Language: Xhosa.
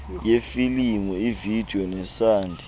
yefilimu ivideyo nesandi